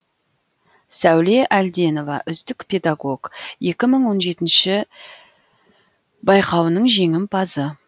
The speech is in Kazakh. сәуле әлденова үздік педагог екі мың он жетінші байқауының жеңімпазы